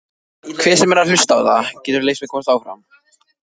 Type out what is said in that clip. björt nóttin glampar á þaki hans.